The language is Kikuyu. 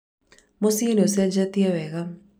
mũciĩ nĩũcĩnjĩtie wega